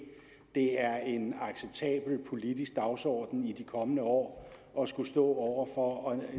det er en acceptabel politisk dagsorden i de kommende år at skulle stå over for at